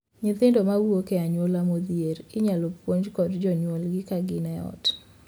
Nyithindo ma wuok e anyuola modhier inyal puonj kod jonyuolgi ka gin ot.